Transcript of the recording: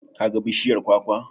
Ka ga bishiyar kwakwa?